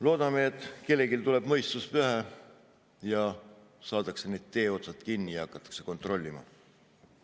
Loodame, et kellelgi tuleb mõistus pähe, saadakse need teeotsad kinni ja hakatakse kontrollima.